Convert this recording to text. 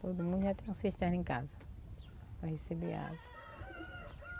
Todo mundo ia ter uma cisterna em casa para receber água.